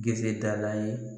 Gese da la ye